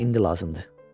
Mənə indi lazımdır.